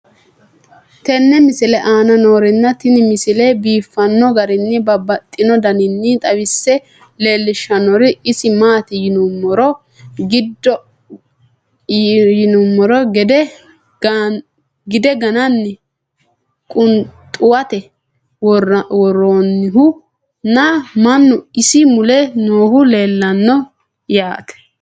tenne misile aana noorina tini misile biiffanno garinni babaxxinno daniinni xawisse leelishanori isi maati yinummoro gidde ganne qunxuwatte woroonihu nna mannu isi mule noohu leelanno yaatte